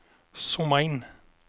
zooma in